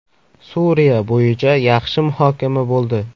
Suriya bo‘yicha yaxshi muhokama bo‘ldi.